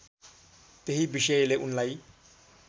त्यही विषयले उनलाई